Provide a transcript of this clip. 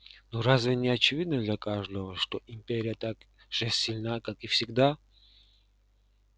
но разве не очевидно для каждого что империя так же сильна как и всегда